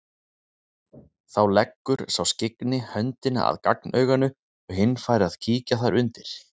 Þá leggur sá skyggni höndina að gagnauganu og hinn fær að kíkja þar undir.